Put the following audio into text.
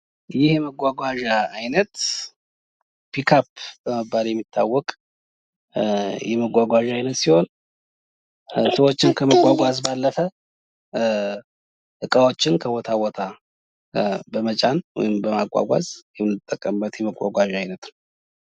ይህ የመጓጓዣ አይነት ፒካፕ በመባል የሚጠራ የመጓጓዣ አይነት ሲሆን ፤ ሰዎችን ከማጓጓዝ በተጨማሪ እቃዎችን ለማጓጓዝ የሚያገለግል የተሽከርካሪ አይነት ነው።